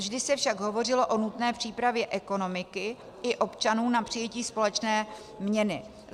Vždy se však hovořilo o nutné přípravě ekonomiky i občanů na přijetí společné měny.